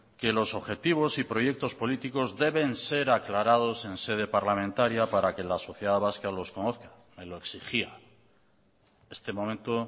que los objetivos y proyectos políticos deben ser aclarados en sede parlamentaria para que la sociedad vasca los conozca me lo exigía este momento